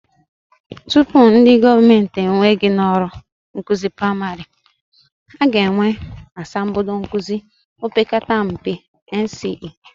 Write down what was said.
Tupu ndị gọọmenti ewee gị n'ọrụ nkụzi praịmarị, I ga-enwe asambodo nkụzi opekata mpe, NCE